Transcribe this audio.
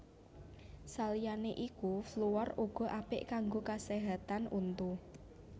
Saliyané iku fluor uga apik kanggo kaséhatan untu